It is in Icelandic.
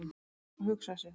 """Já, hugsa sér!"""